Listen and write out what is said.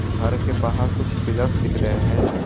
घर के बाहर कुछ पिलर्स से दिख रहे हैं।